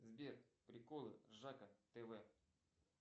сбер приколы ржака тв